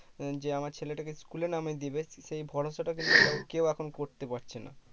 যে আমার ছেলেটাকে school এ নামিয়ে দিবে সেই ভরসাটা কিন্তু কেও এখন করতে পারছে না